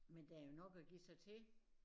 Men der jo nok at give sig til